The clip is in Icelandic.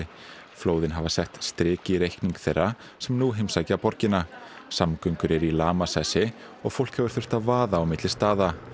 flóðin hafa sett strik í reikning þeirra sem nú heimsækja borgina samgöngur eru í lamasessi og fólk hefur þurft að vaða á milli staða